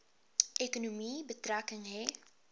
ekonomie betrekking hê